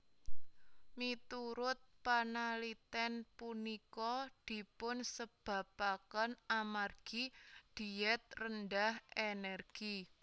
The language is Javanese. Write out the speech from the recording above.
Miturut panalitén punika dipunsebabaken amargi dhiet rendah énérgi